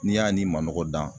N'i y'a n'i manɔgɔ dan